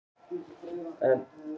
Vilja fá endurgreitt frá bönkunum